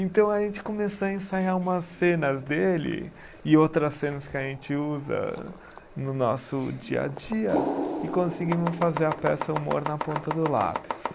Então a gente começou a ensaiar umas cenas dele e outras cenas que a gente usa no nosso dia a dia e conseguimos fazer a peça humor na ponta do lápis.